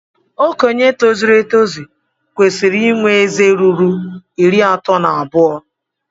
Okenye tozuru etozu kwesiri inwe ézé ruru iri ato na abuo